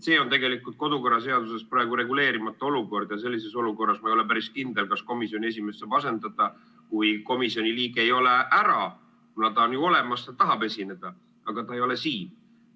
See on tegelikult praegu kodukorraseaduses reguleerimata olukord ja sellises olukorras ma ei ole päris kindel, kas komisjoni esimees saab asendada, kui komisjoni liige ei ole ära, kuna ta on ju olemas, ta tahab esineda, aga ta ei ole siin.